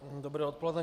Dobré odpoledne.